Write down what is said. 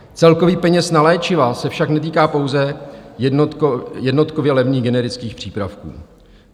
Celek peněz na léčiva se však netýká pouze jednotkově levných generických přípravků.